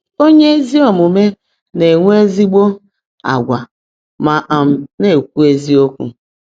Onye ezi omume na-enwe ezigbo agwa ma um na-ekwu eziokwu.